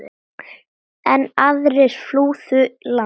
Enn aðrir flúðu land.